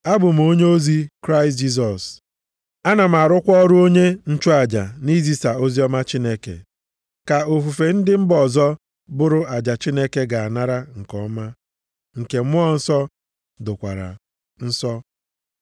abụ m onyeozi Kraịst Jisọs, ana m arụkwa ọrụ onye nchụaja nʼizisa oziọma Chineke, ka ofufe ndị mba ọzọ bụrụ aja Chineke ga-anara nke ọma, nke Mmụọ Nsọ dokwara nsọ.